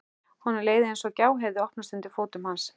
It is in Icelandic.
Honum leið eins og gjá hefði opnast undir fótum hans.